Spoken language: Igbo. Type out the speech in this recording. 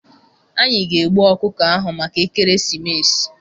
Anyị ga-egbu ọkụkọ ahụ maka ekeresimesi.